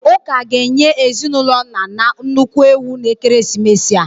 Ụka ga-enye ezinụlọ Nana nnukwu ewu n'ekeresimesi a.